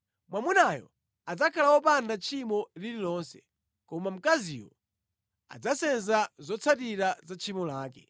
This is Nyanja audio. Mwamunayo adzakhala wopanda tchimo lililonse, koma mkaziyo adzasenza zotsatira za tchimo lake.’ ”